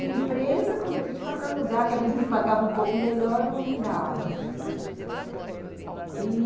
Em empresa, como eu estou te falando, lugar que às vezes me pagava um pouco melhor, eu mudava e...